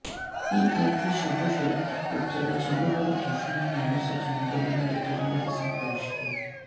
PID সাহস এর উদ্যোগে চালু হল অসহায় মানুষদের জন্য বিনামূল্যে টেলিমেডিসিন পরিষেবা